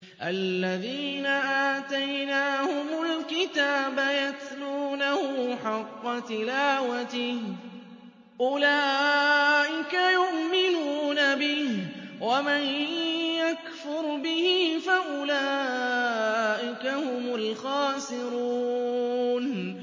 الَّذِينَ آتَيْنَاهُمُ الْكِتَابَ يَتْلُونَهُ حَقَّ تِلَاوَتِهِ أُولَٰئِكَ يُؤْمِنُونَ بِهِ ۗ وَمَن يَكْفُرْ بِهِ فَأُولَٰئِكَ هُمُ الْخَاسِرُونَ